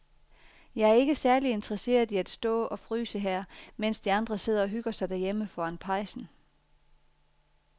Jeg er ikke særlig interesseret i at stå og fryse her, mens de andre sidder og hygger sig derhjemme foran pejsen.